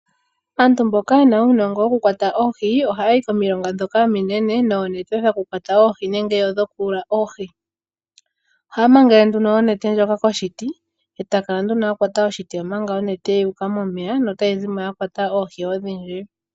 Aantu mboka yena uunongo woku kwata oohi ohaya yi komilonga dhoka ominene noonete dhoku kwata oohi nenge dhoku yuula oohi. Ohaya mangele nduno onete ndjoka koshiti, e ta kala nduno akwata oshiti omanga onete ya uka momeya notayi zimo ya kwata oohi odhindji.